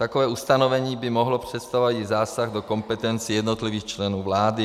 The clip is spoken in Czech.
Takové ustanovení by mohlo představovat i zásah do kompetencí jednotlivých členů vlády.